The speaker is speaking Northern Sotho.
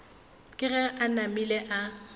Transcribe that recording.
ke ge a namile a